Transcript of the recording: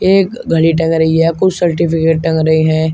एक घड़ी टंग रही है कुछ सर्टिफिकेट टंग रहे हैं।